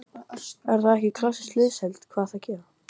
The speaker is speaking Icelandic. Er það ekki klassíska liðsheildin?